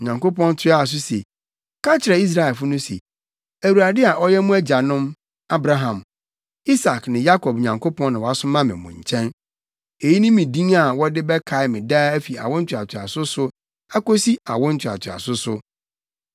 Onyankopɔn toaa so se, “Ka kyerɛ Israelfo no se, ‘ Awurade a ɔyɛ mo agyanom Abraham, Isak ne Yakob Nyankopɔn na wasoma me mo nkyɛn.’ ” Eyi ne me din a wɔde bɛkae me daa fi awo ntoatoaso so kosi awo ntoatoaso so.